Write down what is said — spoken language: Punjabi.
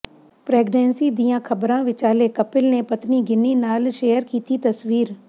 ਪ੍ਰੈਗਨੈਂਸੀ ਦੀਆਂ ਖਬਰਾਂ ਵਿਚਾਲੇ ਕਪਿਲ ਨੇ ਪਤਨੀ ਗਿੰਨੀ ਨਾਲ ਸ਼ੇਅਰ ਕੀਤੀ ਤਸਵੀਰ